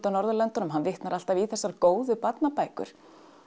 á Norðurlöndunum hann vitnar alltaf í þessar góðu barnabækur